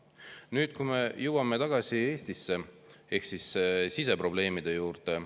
Nüüd jõuame tagasi Eestisse ehk siseprobleemide juurde.